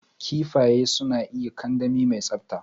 Kifaye suna iyo a kandami mai tsabta.